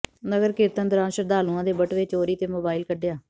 ਨਗਰ ਕੀਰਤਨ ਦੌਰਾਨ ਸ਼ਰਧਾਲੂਆਂ ਦੇ ਬਟੂਏ ਚੋਰੀ ਤੇ ਮੋਬਾਇਲ ਕੱਢਿਆ